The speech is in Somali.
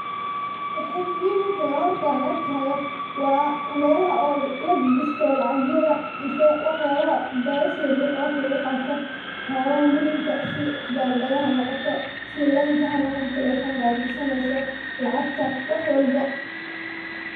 Wxey muhim ute horta an arkihayo wa melaha o lagagashto lacaga mise wax yabaha bagasha yaryar oo wax lagu qato, waxyabaha muhimka sithi kibandayaha hanoqoto sithi linka hanoqoto talephonka ad gashaneyso lacgta wax walbo.